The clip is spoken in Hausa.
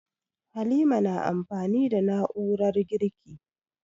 Halima na amfani da na'urar girki.